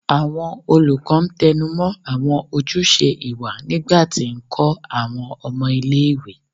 Awọn olukọ tẹnumọ awọn ojuse iwa nigba ti nkọ awọn ọmọ ile-iwe